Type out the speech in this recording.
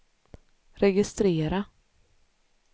registrera